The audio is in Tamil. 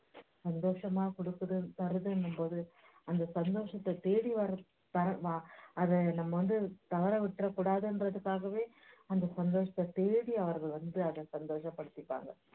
சந்தோஷமா கொடுக்குது தருதுன்னும்போது அந்த சந்தோஷத்தைத் தேடி வர வ~ வ~ அதை நம்ம வந்து தவற விட்டுறக்கொடாதுங்கறதுக்காகவே அந்த சந்தோஷத்தைத் தேடி அவர்கள் வந்து அதை சந்தோஷப்படுத்திப்பாங்க